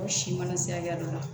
Ko si mana se hakɛ dɔ la